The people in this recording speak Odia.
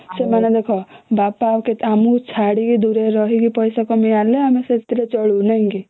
ସେମାନେ ଦେଖ ଆମକୁ ଛାଡିକି ଦୂର ରେ ରହିକି ପଇସା କମେଇକି ଆଣିଲେ ଆମେ ସେଥିରେ ଚଳୁ